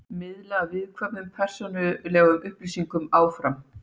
Miðlaði viðkvæmum persónulegum upplýsingum áfram